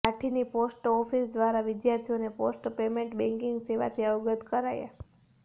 લાઠીની post office દ્વારા વિદ્યાર્થીઓને post payment banking સેવાથી અવગત કરાયા